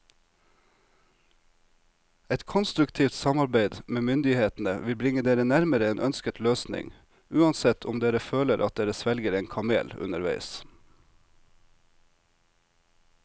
Et konstruktivt samarbeid med myndighetene vil bringe dere nærmere en ønsket løsning, uansett om dere føler at dere svelger en kamel underveis.